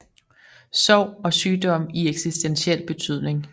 Sorg og sygdom i eksistentiel betydning